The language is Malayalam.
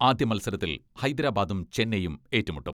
ആദ്യമത്സരത്തിൽ ഹൈദരാബാദും ചെന്നൈയും ഏറ്റുമുട്ടും.